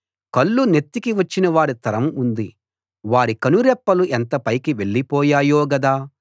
కళ్ళు నెత్తికి వచ్చినవారి తరం ఉంది వారి కనురెప్పలు ఎంత పైకి వెళ్లి పోయాయో గదా